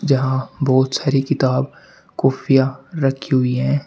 जहां बहुत सारी किताब कॉपियां रखी हुई है।